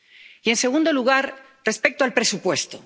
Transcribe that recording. Y, en segundo lugar, respecto al presupuesto.